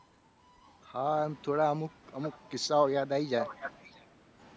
હા આમ થોડા અમુક અમુક કિસ્સાઓ યાદ આવી જાય.